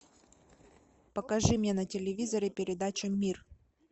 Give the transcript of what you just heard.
покажи мне на телевизоре передачу мир